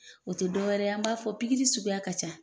O tɛ dɔw wɛrɛ ye an b'a fɔ suguya ka ca.